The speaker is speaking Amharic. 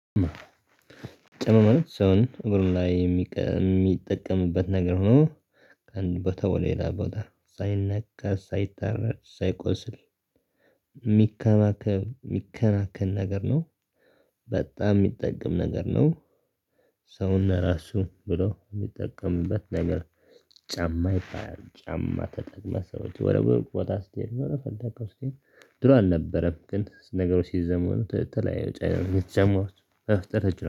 ጫማ ሰውን እግሩን ላይ የሚጠቀምበት ነገር ሆኖ ከአንድ ቦታ ወደ ሌላ ቦታ ሳይነካ፣ ሳይታረድ፣ ሳይቆስል የሚከባከብ፣ የሚከናከን ነገር ነው። በጣም የሚጠቅም ነገር ነው። ሰውና ራሱ ብሎ የሚጠቀምበት ነገር ጫማ ይባላል። ጫማ ተጠቅመህ ሰዎች ወደ ሩቅ ቦታ ስትሄድ ወደ ፈለከው ስቴድ ድሮ አልነበረም ግን ነገሩ ሲዘመኑ ተለያዩ ጫማ ጫማዎች መፈጠር ችለዋል።